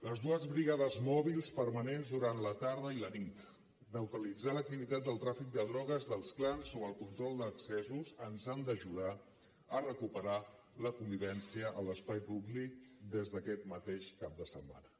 les dues brigades mòbils permanents durant la tarda i la nit neutralitzar l’activitat del tràfic de drogues dels clans o el control d’accessos ens han d’ajudar a recuperar la convivència a l’espai públic des d’aquest mateix cap de setmana